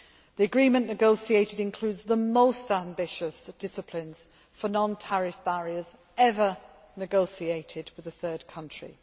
The agreement negotiated includes the most ambitious disciplines for non tariff barriers ever negotiated with a third country.